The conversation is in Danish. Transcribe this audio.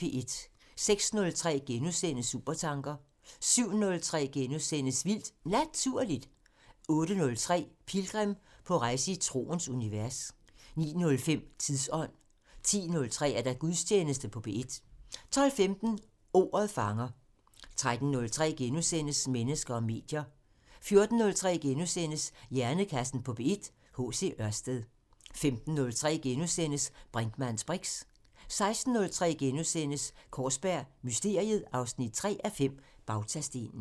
06:03: Supertanker * 07:03: Vildt Naturligt * 08:03: Pilgrim – på rejse i troens univers 09:05: Tidsånd 10:03: Gudstjeneste på P1 12:15: Ordet fanger 13:03: Mennesker og medier * 14:03: Hjernekassen på P1: H.C. Ørsted * 15:03: Brinkmanns briks * 16:03: Kaarsberg Mysteriet 3:5 – Bautastenen *